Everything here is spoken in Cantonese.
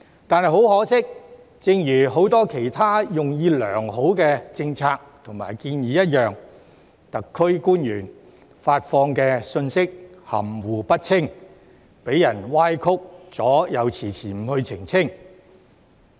但很可惜，正如很多其他用意良好的政策及建議一樣，特區官員發放的信息含糊不清，被人歪曲了又遲遲不去澄清。